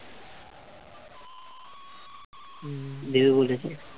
হম দেবে বলেছে